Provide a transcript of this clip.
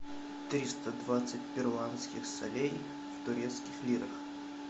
триста двадцать перуанских солей в турецких лирах